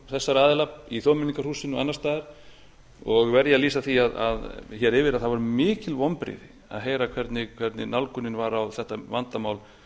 þessara aðila í þjóðmenningarhúsinu og annars staðar og verð ég að lýsa því hér yfir að það voru mikil vonbrigði að heyra nálgunina á þetta vandamál